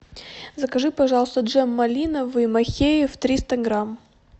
закажи пожалуйста джем малиновый махеев триста грамм